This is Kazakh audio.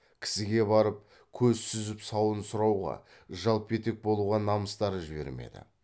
кісіге барып көз сүзіп сауын сұрауға жалпетек болуға намыстары жібермеді